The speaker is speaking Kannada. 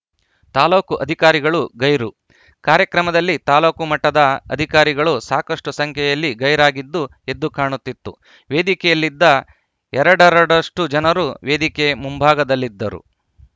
ತಾಲೂಕು ಅಧಿಕಾರಿಗಳು ಗೈರು ಕಾರ್ಯಕ್ರಮದಲ್ಲಿ ತಾಲೂಕು ಮಟ್ಟದ ಅಧಿಕಾರಿಗಳು ಸಾಕಷ್ಟುಸಂಖ್ಯೆಯಲ್ಲಿ ಗೈರಾಗಿದ್ದು ಎದ್ದು ಕಾಣುತ್ತಿತ್ತು ವೇದಿಕೆಯಲ್ಲಿದ್ದ ಎರಡರಡಷ್ಟುಜನರು ವೇದಿಕೆ ಮುಂಭಾಗದಲ್ಲಿದ್ದರು